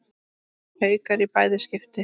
Haukar í bæði skipti.